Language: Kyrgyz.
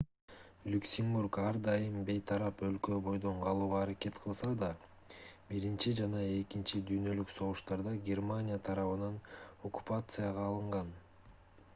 люксембург ар дайым бейтарап өлкө бойдон калууга аракет кылса да биринчи жана экинчи дүйнөлүк согуштарда германия тарабынан оккупацияга алынган